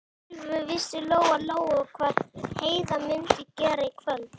Alveg vissi Lóa-Lóa hvað Heiða mundi gera í kvöld.